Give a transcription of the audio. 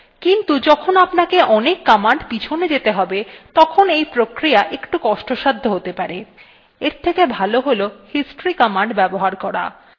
কিন্তু যখন আপনাকে অনেক commands পিছনে যেতে have তখন এই প্রক্রিয়া একটু কষ্টসাধ্য হতে পারে এর থেকে ভালো হল history commands ব্যবহার করা